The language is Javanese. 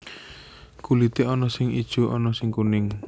Kulité ana sing ijo ana sing kuning